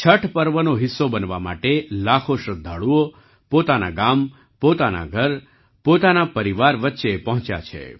છઠ પર્વનો હિસ્સો બનવા માટે લાખો શ્રદ્ધાળુઓ પોતાના ગામ પોતાના ઘર પોતાના પરિવાર વચ્ચે પહોંચ્યા છે